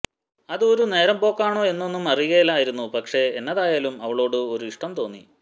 അതു ഒരു നേരം പോക്കാണോ എന്നൊന്നും അറിയുകെലാരുന്നു പക്ഷേ എന്നതായാലും അവളോട് ഒരു ഇഷ്ടം തോന്നി